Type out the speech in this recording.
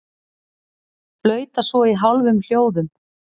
Flauta svo í hálfum hljóðum.